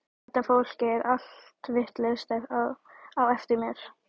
Þetta fólk er allt vitlaust á eftir mér.